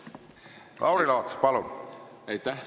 Lauri Laats, palun!